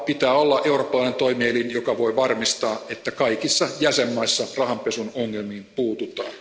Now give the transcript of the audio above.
Pitää olla eurooppalainen toimielin, joka voi varmistaa, että kaikissa jäsenvaltioissa rahanpesun ongelmiin puututaan.